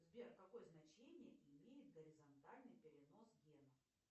сбер какое значение имеет горизонтальный перенос гена